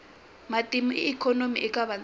matimba ya ikhonomi eka vantima